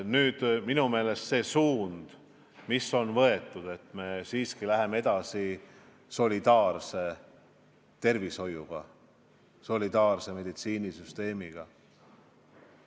Aga minu meelest meie võetud suund minna edasi solidaarse tervishoiuga, solidaarse meditsiinisüsteemiga on õige.